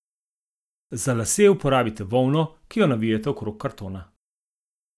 Za lase uporabite volno, ki jo navijte okrog kartona.